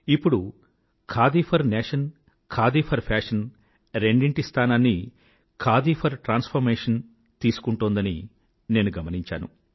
ఇప్పుడు khadi for nation khadi for fashion రెండిటి స్థానాన్నీ ఖాదీ ఫోర్ ట్రాన్స్ఫార్మేషన్ తీసుకుంటోందని నేను గమనించాను